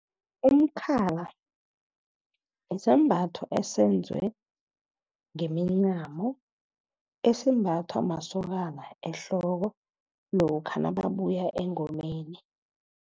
Umkhala isambatho esenziwe ngemincamo, esimbathwa masokana ehloko lokha nababuya engomeni.